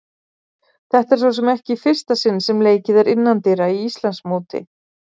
Þetta er svo sem ekki í fyrsta sinn sem leikið er innandyra í Íslandsmóti.